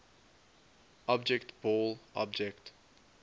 object ball object